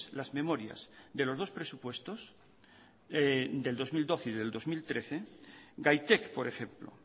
las memorias de los dos presupuestos del dos mil doce y del dos mil trece gaitek por ejemplo